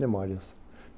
Memórias.